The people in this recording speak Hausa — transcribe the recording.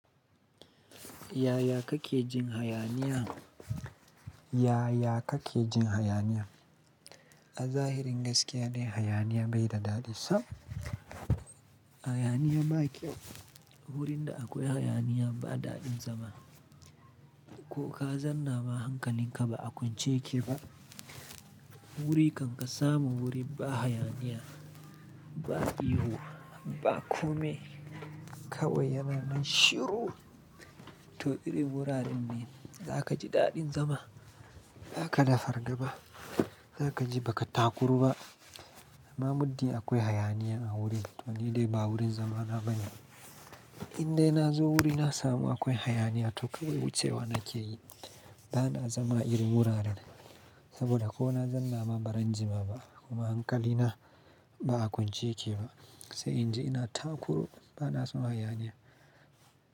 Yaya kake jin hayaniya? Yaya kake jin hayaniya? A zahirin gaskiya ne hayaniya bai da daɗi. Tabb hayaniya baƙyau. Wurin da akwai hayaniya ba daɗin zama. Ko ka zanna ma hankalin ka ba a kwance yake ba. Wuri kan ka samu wuri ba hayaniya, ba ihu, ba kome, kawai yana nan shiru, to iri wuraren ne za ka ji daɗin zama. Za ka da fargaba, za ka ji ba ka takuru ba. Amma mudi akwai hayaniya a wuri wanne dai ba wurin zama na bane. Indai na zo wuri na samu akwai hayaniya to kawai wucewa nake yi. Ba na zama iri wuraren. Saboda ko na zanna ma ba zan jima ba. Kuma hankalina ba a kwance yake ba. Sai in je ina takuru ba na samu hayaniya.